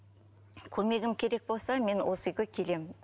көмегім керек болса мен осы үйге келемін